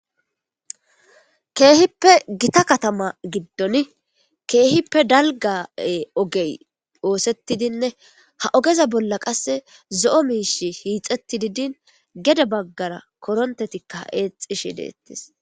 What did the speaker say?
Keehippe gita katama giddon keehippe dalgga ogey oosetidinne ha ogeza bolla qassi zo'o miishshi hiixettidi diini gede baggara korontetikka eexxishe deettes.